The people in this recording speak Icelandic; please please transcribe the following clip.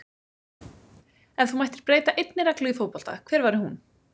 Ef þú mættir breyta einni reglu í fótbolta hver væri hún?